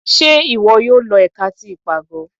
Ṣe iwọ yóò lọ ẹ̀ka tí ipágọ?